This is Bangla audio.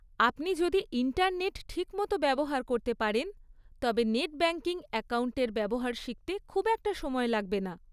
আপনি যদি ইন্টারনেট ঠিকমতো ব্যবহার করতে পারেন, তবে নেট ব্যাংকিং অ্যাকাউন্টের ব্যবহার শিখতে খুব একটা সময় লাগবে না।